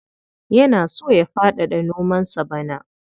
Yana so ya faɗaɗa nomansa bana.